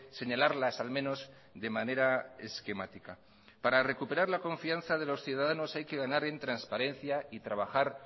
señalarlas al menos de manera esquemática para recuperar la confianza de los ciudadanos hay que ganar en transparencia y trabajar